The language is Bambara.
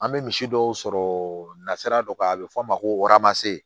An bɛ misi dɔw sɔrɔ nasira dɔ kan a bɛ fɔ a ma ko